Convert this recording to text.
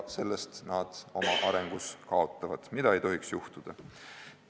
Selle tõttu nad oma arengus kaotavad, mida ei tohiks juhtuda.